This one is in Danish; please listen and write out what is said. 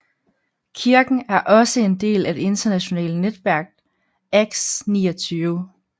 Kirken er også en del af det internationale netværk Acts29